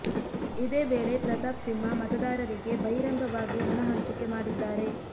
ಇದೇ ವೇಳೆ ಪ್ರತಾಪ್ ಸಿಂಹ ಮತದಾರರಿಗೆ ಬಹಿರಂಗವಾಗಿ ಹಣ ಹಂಚಿಕೆ ಮಾಡಿದ್ದಾರೆ